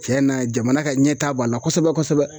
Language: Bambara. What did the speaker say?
Tiɲɛna jamana ka ɲɛta b'a la kosɛbɛ kosɛbɛ